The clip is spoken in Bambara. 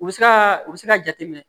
U bɛ se ka u bɛ se ka jateminɛ